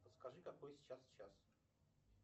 подскажи какой сейчас час